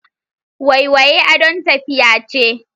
Waiwaye adon tafiya ce.